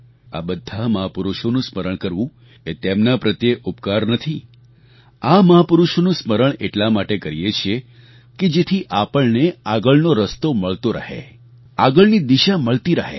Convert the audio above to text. આ બધા મહાપુરુષોનું સ્મરણ કરવું એ તેમના પ્રત્યે ઉપકાર નથી આ મહાપુરુષોનું સ્મરણ એટલા માટે કરીએ છીએ કે જેથી આપણને આગળનો રસ્તો મળતો રહે આગળની દિશા મળતી રહે